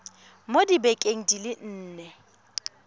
mo dibekeng di le nne